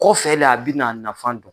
Kɔ fɛ la a bɛna nafan don.